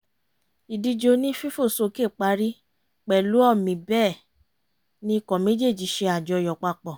ìdíje onífífòsókè parí pẹ̀lú ọ̀mì bẹ́ẹ̀ ni ikọ̀ méjéèjì ṣe àjọyọ̀ papọ̀